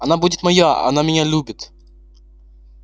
она будет моя она меня любит